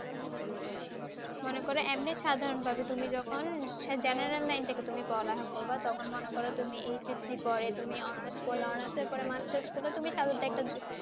মনে কর এমনি সাধারণভাবে তুমি যখন General Line থেকে তুমি পড়ালেখা করবা তখন মনে করো তুমি HSC পরে তুমি Honours করলে Honours এর পরে Masters করলে তুমি সাধারণত একটা Job